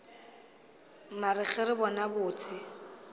mare ge re bona botse